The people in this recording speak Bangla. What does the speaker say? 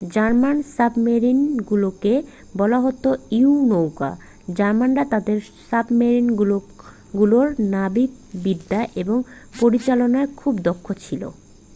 জার্মান সাবমেরিনগুলোকে বলা হত ইউ-নৌকো জার্মানরা তাদের সাবমেরিনগুলোর নাবিকবিদ্যা এবং পরিচালনায় খুব দক্ষ ছিল